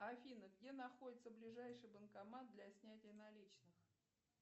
афина где находится ближайший банкомат для снятия наличных